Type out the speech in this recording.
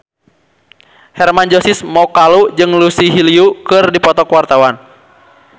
Hermann Josis Mokalu jeung Lucy Liu keur dipoto ku wartawan